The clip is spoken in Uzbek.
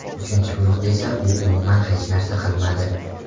Uchinchi guruhda esa u umuman hech narsa qilmadi.